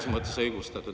… selles mõttes õigustatud.